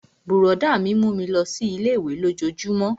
Brọ̀dá mi mú mi lọ sí ilé-ìwé lójojúmó